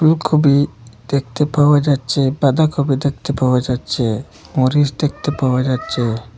Copy দেখতে পাওয়া যাচ্ছে বাঁধাকপি দেখতে পাওয়া যাচ্ছে মরিচ দেখতে পাওয়া যাচ্ছে।